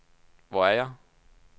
Hvor er jeg